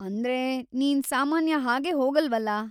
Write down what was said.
ಅಂದ್ರೆ, ನೀನ್‌ ಸಾಮಾನ್ಯ ಹಾಗೆ ಹೋಗಲ್ವಲ.